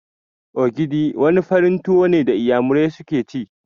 Ogidi' wani farin tuwo ne da inyamurai suke ci